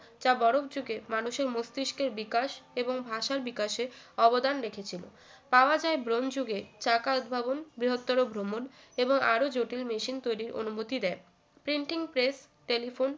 চা বরফ যুগের মানুষের মস্তিষ্কের বিকাশ এবং ভাষার বিকাশের অবদান রেখেছিল পাওয়া যায় ব্রোঞ্চ যুগে চাকার উদ্ভাবন বৃহত্তর ভ্রমণ এবং আরো জটিল machine তৈরির অনুমতি দেয় printing press telephone